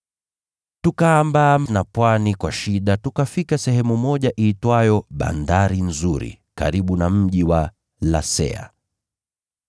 Tukaambaa na pwani kwa shida, tukafika sehemu iitwayo Bandari Nzuri, karibu na mji wa Lasea.